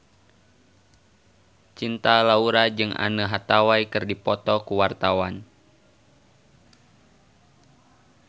Cinta Laura jeung Anne Hathaway keur dipoto ku wartawan